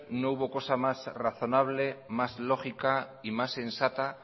no hubo cosa más razonable más lógica y más sensata